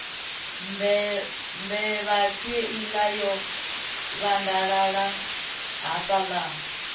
mbevha kheiḽa yo vhandalala hafhaḽa